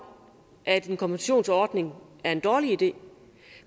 at en kompensationsordning er en god idé